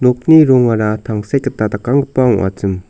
nokni rongara tangsek gita dakanggipa ong·achim.